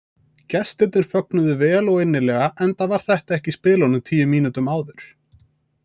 Gestirnir fögnuðu vel og innilega enda var þetta ekki í spilunum tíu mínútum áður.